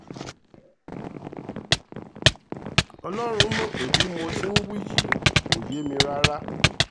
ọlọ́run mọ̀ pé bí mo ti ń wí yìí kò yé mi rárá